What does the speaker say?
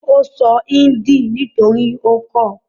Ó sọ índì nítorí ó kọ́ ọ.